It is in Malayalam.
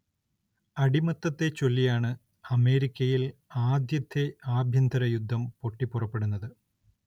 അടിമത്തത്തെച്ചൊല്ലിയാണ് അമേരിക്കയിൽ ആദ്യത്തെ ആഭ്യന്തര യുദ്ധം പൊട്ടിപ്പുറപ്പെടുന്നത്.